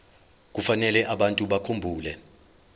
kufanele abantu bakhumbule